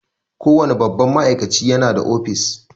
Kowane babban ma'aikaci ya na da office